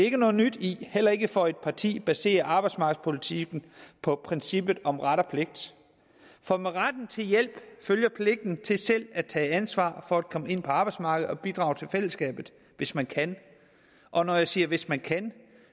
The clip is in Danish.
ikke noget nyt i heller ikke for et parti der baserer arbejdsmarkedspolitikken på princippet om ret og pligt for med retten til hjælp følger pligten til selv at tage ansvar for at komme ind på arbejdsmarkedet og bidrage til fællesskabet hvis man kan og når jeg siger hvis man kan